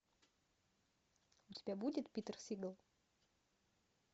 у тебя будет питер сигал